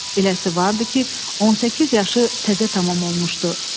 Eləsi vardı ki, 18 yaşı təzə tamam olmuşdu.